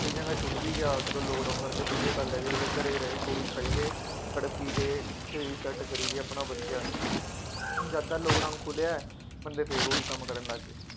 ਕਈਆਂ ਦਾ ਛੁੱਟ ਵੀ ਗਿਆ, ਚੱਲੋ ਲਾਕਡਾਊਨ ਕਰਕੇ ਵਧੀਆਂ ਗੱਲ ਹੈ ਜੀ, ਘਰੇ ਰਹੇ ਗੋਲੀ ਖਾਈ ਗਏ। ਤੜਫੀ ਗਏ, ਸਰੀਰ ਸੈੱਟ ਕਰੀ ਗਿਆ ਆਪਣਾ ਵਧੀਆ, ਜਦ ਦਾ ਲਾਕਡਾਊਨ ਖੁੱਲ੍ਹਿਆ ਹੈ ਬੰਦੇ ਫੇਰ ਉਹੀ ਕੰੰਮ ਕਰਨ ਲੱਗ ਗਏ।